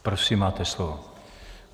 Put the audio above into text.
Prosím, máte slovo.